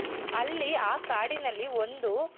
ಅಲ್ಲಿ ಆ ಕಾಡಿನಲ್ಲಿ ಒಂದು